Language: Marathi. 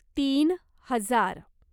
तीन हजार